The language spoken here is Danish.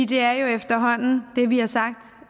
det er jo efterhånden det vi har sagt